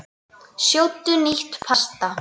Sjóddu nýtt pasta.